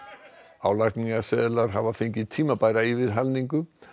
álagningarseðlar hafa fengið tímabæra yfirhalningu